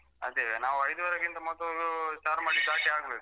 ಅದೇ ನಾವು ಐದುವರೆಗಿಂತ ಮೊದಲು ಚಾರ್ಮಡಿ ದಾಟಿ ಆಗ್ಬೇಕು.